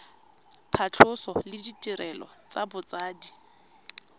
phatlhoso le ditirelo tsa botsadi